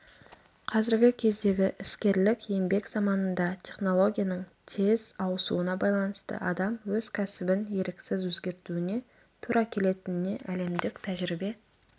қазіргі кездегі іскерлік еңбек заманында технологияның тез ауысуына байланысты адам өз кәсібін еріксіз өзгертуіне тура келетініне әлемдік тәжірибе